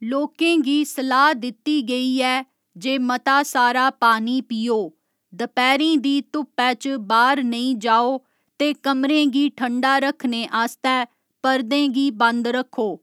लोकें गी सलाह् दित्ती गेई ऐ जे मता सारा पानी पीओ, दपैह्‌रीं दी धुप्पै च बाह्‌र नेईं जाओ ते कमरें गी ठण्डा रक्खने आस्तै पर्दें गी बंद रक्खो।